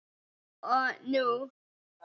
Þá og núna.